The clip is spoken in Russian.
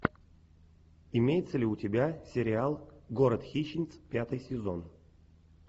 имеется ли у тебя сериал город хищниц пятый сезон